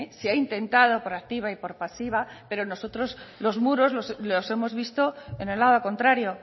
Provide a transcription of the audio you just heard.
se ha intentado por activa y por pasiva pero nosotros los muros los hemos visto en el lado contrario